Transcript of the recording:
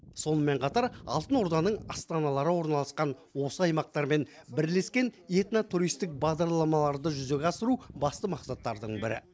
сонымен қатар алтын орданың астаналары орналасқан осы аймақтармен бірлескен этно туристік бағдарламаларды жүзеге асыру басты мақсаттардың бірі